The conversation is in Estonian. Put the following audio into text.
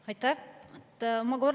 Aitäh!